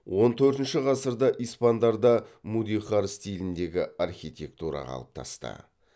он төртінші ғасырда испандарда мудехар стиліндегі архитектура қалыптасты